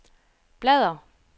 bladr